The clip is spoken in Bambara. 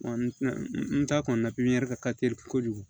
n ta kɔni na pipiniyɛri ka ka teli kojugu